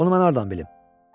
Bunu mən hardan bilim?